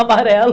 Amarelo.